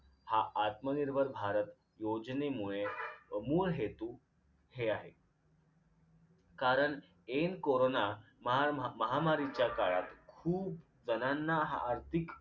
हा आत्मनिर्भर भारत योजनेमुळे मूळ हेतू हे आहे कारण ऐन corona महा महामारीच्या काळात खूप जणांना हा आर्थिक अं